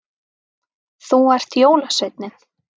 Þú ert jólasveinninn